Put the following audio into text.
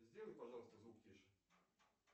сделай пожалуйста звук тише